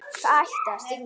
Það ætti að stinga.